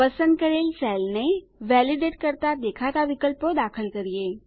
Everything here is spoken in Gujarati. પસંદ કરેલ સેલને વેલીડેટ કરતા દેખાતા વિકલ્પો દાખલ કરીએ